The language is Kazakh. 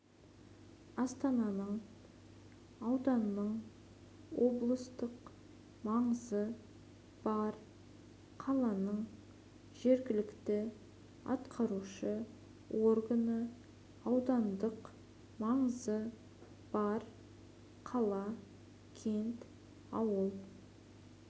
астананың ауданның облыстық маңызы бар қаланың жергілікті атқарушы органы аудандық маңызы бар қала кент ауыл